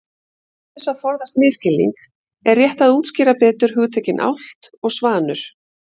Til þess að forðast misskilning er rétt að útskýra betur hugtökin álft og svanur.